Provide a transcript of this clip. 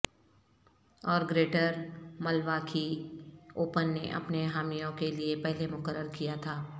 اور Greater Milwaukee Open نے اپنے حامیوں کے لئے پہلے مقرر کیا تھا